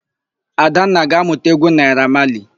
Adanna ga-ámụ̀ta égwú Naịra Mali.